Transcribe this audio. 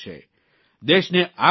દેશને આગળ લઇ જશે